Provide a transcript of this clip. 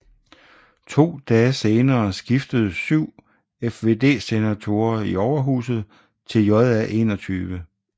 To dage senere skiftede 7 FvD senatorer i overhuset til JA21